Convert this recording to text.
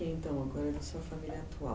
Fala um pouquinho então agora da sua família atual.